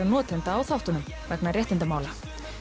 notenda á þáttunum vegna réttindamála